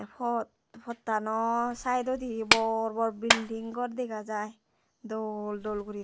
pot pottano sidodi bor bor bilding gor dega jai dol dol goriney.